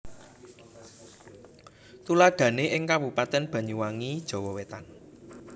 Tuladhané ing Kabupatèn Banyuwangi Jawa Wétan